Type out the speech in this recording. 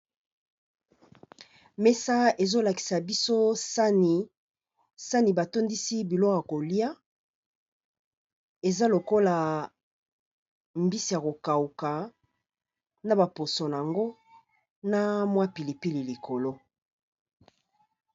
Mesa eza kolakisa biso sani état ñakati mbisi yakokauka n'a pilipili likolo